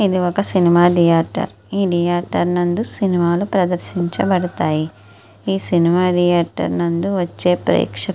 ఇది ఒక cinema theatre . ఈ థియేటర్ నందు సినిమాలు ప్రదర్శించబడతాయి. ఈ సినిమా ధియేటర్ నందు వచ్చే ప్రేక్షకుల కోసం--